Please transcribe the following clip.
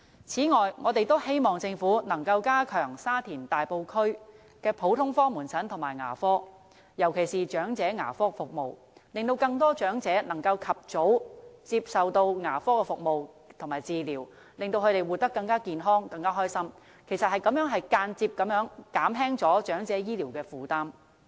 此外，我們也希望政府能夠加強沙田、大埔區的普通科門診和牙科服務，尤其是長者牙科服務，令更多長者能夠及早接受牙科服務和治療，使他們活得更健康和快樂，也間接減輕長者醫療的負擔。